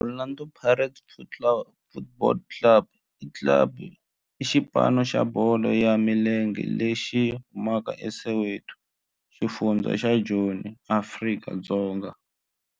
Orlando Pirates Football Club i xipano xa bolo ya milenge lexi humaka eSoweto, xifundzha xa Joni, Afrika-Dzonga.